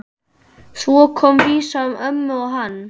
Svo kom vísa um ömmu og hann